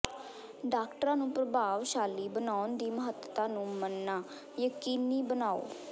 ਡਾਕਟਰਾਂ ਨੂੰ ਪ੍ਰਭਾਵਸ਼ਾਲੀ ਬਣਾਉਣ ਦੀ ਮਹੱਤਤਾ ਨੂੰ ਮੰਨਣਾ ਯਕੀਨੀ ਬਣਾਓ